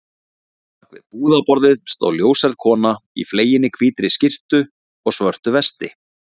Á bak við búðarborðið stóð ljóshærð kona í fleginni hvítri skyrtu og svörtu vesti.